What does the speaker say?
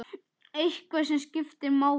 Eitthvað sem skiptir máli?